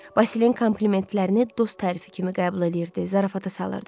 Vasilin komplimentlərini dost tərifi kimi qəbul eləyirdi, zarafata salırdı.